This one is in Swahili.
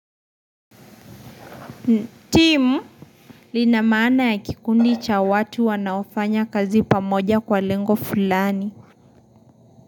Timu lina maana ya kikundi cha watu wanaofanya kazi pamoja kwa lengo fulani.